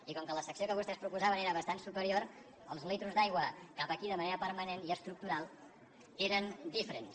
i com que la secció que vostès proposaven era bastant superior els litres d’aigua cap aquí de manera permanent i estructural eren diferents